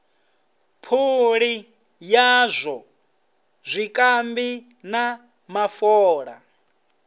phuli yazwo zwikambi na mafola